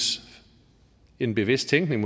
en bevidst tænkning